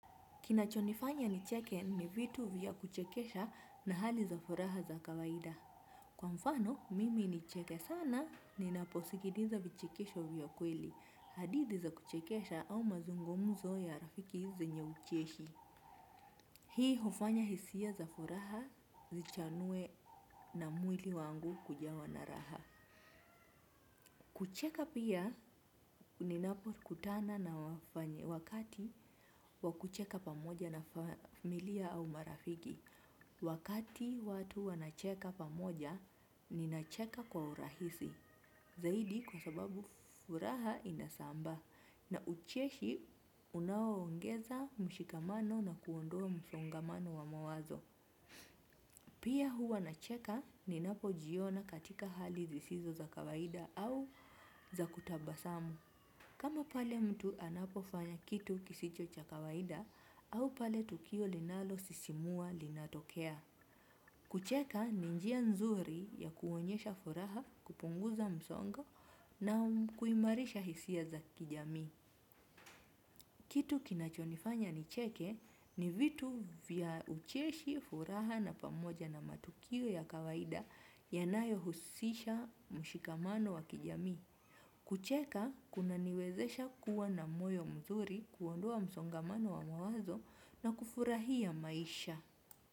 Kinachonifanya nicheke ni vitu vya kuchekesha na hali za furaha za kawaida. Kwa mfano, mimi nicheke sana ninaposikiliza vichekesho vya kweli, hadithi za kuchekesha au mazungumzo ya rafiki zenye ucheshi. Hii hufanya hisia za furaha zichanue na mwili wangu kujawa na raha. Kucheka pia ninapokutana na wakati wa kucheka pamoja na familia au marafiki. Wakati watu wanacheka pamoja, ninacheka kwa urahisi. Zaidi kwa sababu furaha inasambaa na ucheshi unaoongeza mshikamano na kuondoa msongamano wa mawazo. Pia huwa nacheka ninapojiona katika hali zisizo za kawaida au za kutabasamu. Kama pale mtu anapofanya kitu kisicho cha kawaida au pale tukio linalosisimua linatokea. Kucheka ni njia nzuri ya kuonyesha furaha, kupunguza msongo na kuimarisha hisia za kijamii. Kitu kinachonifanya nicheke ni vitu vya ucheshi, furaha na pamoja na matukio ya kawaida yanayohusisha mshikamano wa kijamii. Kucheka kunaniwezesha kuwa na moyo mzuri, kuondoa msongamano wa mawazo na kufurahia maisha.